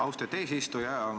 Austatud eesistuja!